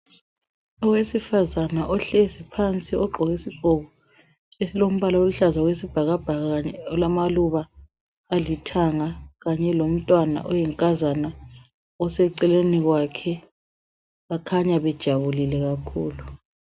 Owesifazana ohleli phansi ogqoke isigqoko esilombala oluhlaza okwesibhakabhaka lamaluba alithanga kanye lomntwana oyinkazana oseceleni kwakhe bakhanya bejabulile kakhulu